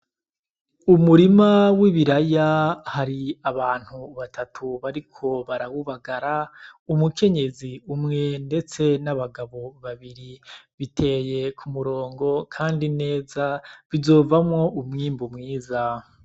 Umurima w'ibiraya; hari abantu batatu bariko barawubagara, umukenyezi umwe ndetse n'abagabo babiri. Biteye ku murongo kandi neza, bizovamwo umwimbu mwiza.